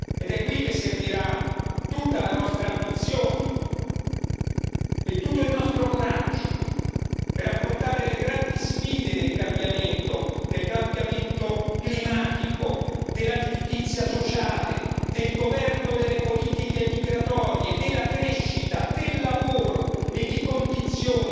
Ed è qui che servirà tutta la nostra ambizione e tutto il nostro coraggio per affrontare le grandi sfide del cambiamento climatico, della giustizia sociale, del governo delle politiche migratorie, della crescita, del lavoro e di condizioni